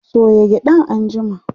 soya gyaɗan anjima!